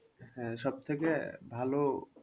হ্যাঁ সব থেকে ভালো